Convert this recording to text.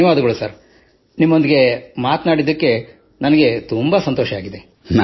ಧನ್ಯವಾದಗಳು ಸರ್ ನಿಮ್ಮೊಂದಿಗೆ ಮಾತನಾಡಿ ನನಗೆ ಬಹಳ ಸಂತೋಷವಾಗಿದೆ